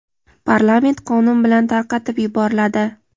parlament qonun bilan tarqatib yuboriladi.